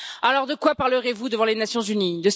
Alors de quoi parlerez vous devant les Nations unies?